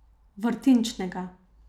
Vrtinčnega.